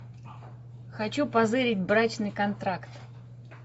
хочу позырить брачный контракт